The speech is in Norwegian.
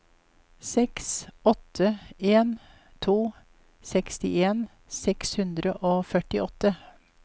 seks åtte en to sekstien seks hundre og førtiåtte